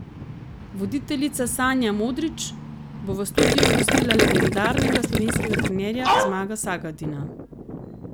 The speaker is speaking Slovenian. Voditeljica Sanja Modrić bo v studiu gostila legendarnega slovenskega trenerja Zmaga Sagadina.